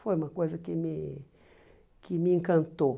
Foi uma coisa que me que me encantou.